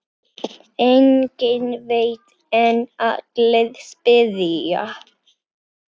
Enginn veit en allir spyrja.